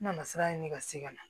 N nana sira ɲini ka se ka na